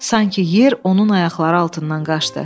Sanki yer onun ayaqları altından qaçdı.